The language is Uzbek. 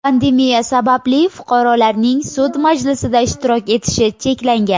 Pandemiya sababli fuqarolarning sud majlisida ishtirok etishi cheklangan.